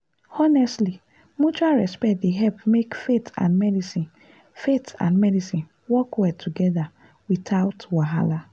honestly mutual respect dey help make faith and medicine faith and medicine work well together without wahala.